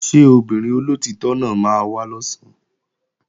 Ṣé obìnrin olóòtítọ́ náà máa wá lọ̀sán?